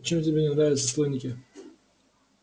чем тебе не нравятся слоники